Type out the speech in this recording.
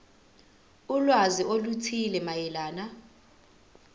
ulwazi oluthile mayelana